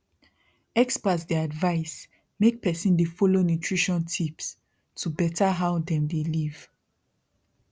experts dey advise make person dey follow nutrition tips to better how dem dey live